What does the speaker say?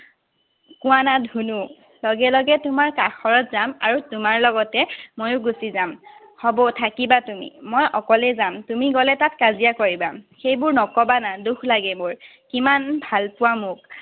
কোৱানা, ধুনু। লগে লগে তোমাৰ কাষৰত যাম আৰু তোমাৰ লগতে ময়ো গুছি যাম। হব, থাকিবা তুমি। মই অকলেই যাম। তুমি গলে তাত কাজিয়া কৰিবা। সেইবোৰ নকবা না। দুখ লাগে মোৰ। কিমান ভাল পোৱা মোক?